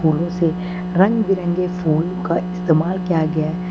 फूलों से रंग बिरंगे फूल का इस्तेमाल किया गया है।